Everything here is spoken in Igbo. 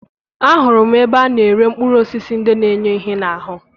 Ahụrụ m ebe a na-ere mkpụrụ osisi ndị na-enye ihe n'ahụ